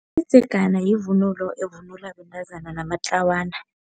Umdzegana yivunulo evunulwa bentazana namatlawana.